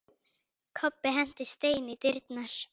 Kobbi henti steini í dyrnar.